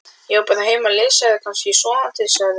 Ég var bara heima að lesa eða kannski sofandi sagði